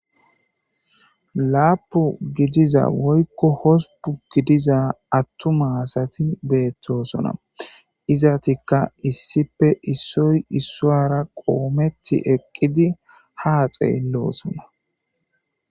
Laapu gidiza woykko hospun gidiza attuma asati beettosona. izatikka issipe issoy issoara qoometti eqqidi haa xeelloosona.